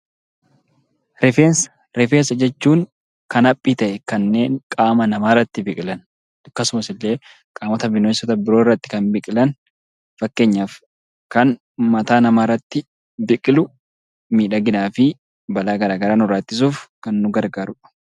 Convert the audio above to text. Rifeensa jechuun kan haphii ta'an kan qaama namaarratti biqilan akkasumallee qaamota bineensota biroorratti kan biqilan. Fakkeenyaaf kan mataa namaarratti biqilu miidhaginaa fi balaa garaagaraa ittisuuf kan nu gargaarudha.